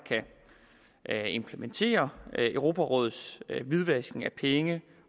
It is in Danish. kan implementere europarådets hvidvask